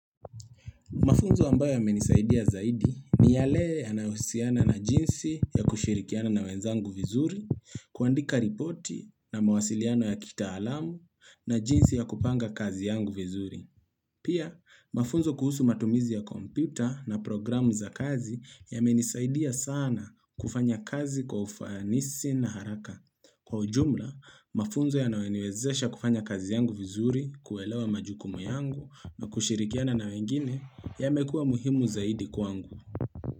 Mafunzo ambayo yamenisaidia zaidi ni yale yanayohusiana na jinsi ya kushirikiana na wenzangu vizuri, kuandika ripoti na mawasiliano ya kitaalamu na jinsi ya kupanga kazi yangu vizuri. Pia, mafunzo kuhusu matumizi ya kompyuta na programu za kazi yamenisaidia sana kufanya kazi kwa ufanisi na haraka. Kwa ujumla, mafunzo yanayoniwezesha kufanya kazi yangu vizuri, kuelewa majukumu yangu, nakushirikiana na wengine yamekua muhimu zaidi kwangu.